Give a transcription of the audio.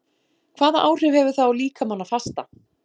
Hvaða áhrif hefur það á líkamann að fasta?